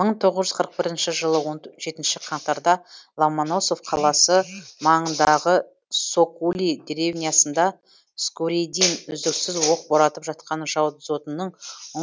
мың тоғыз жүз қырық бірінші жылы он жетінші қаңтарда ломоносов қаласы маңындағы сокули деревнясында скуридин үздіксіз оқ боратып жатқан жау дзотының